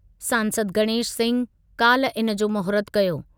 सांसद गणेश सिंह काल्ह इनजो महूरतु कयो।